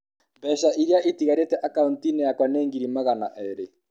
Mbeca iria itigarĩte akaũnti-inĩ yakwa nĩ ngiri magana erĩ.